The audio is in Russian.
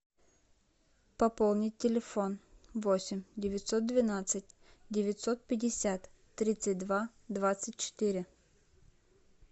пополни телефон восемь девятьсот двенадцать девятьсот пятьдесят тридцать два двадцать четыре